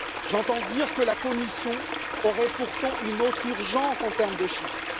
J'entends dire que la Commission aurait pourtant une autre urgence en termes de chiffres.